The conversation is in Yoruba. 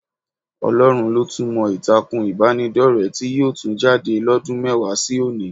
Ọlọ́run ló tún mọ ìtàkùn ìbánidọ́rẹ̀ẹ́ tí yóò tún jáde lọ́dún mẹ́wàá sí òní